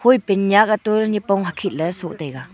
pant nyak atoh ley nipong hakhet so taiga.